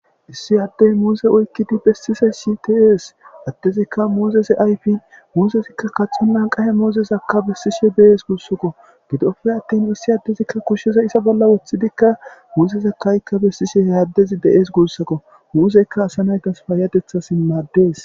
issi addey muuse oykkidi bessisay sities adtezikka muuzese ayfin muuzezikka kaxonna qahe muuzezakka bessishe deees guussakko gidopfe attin issi addezikka kushsheza isa bolla woththidikka muuzeza kaykka bessishe he addezi deees guussakko muuseykka asa naykas paayatetha simaaddees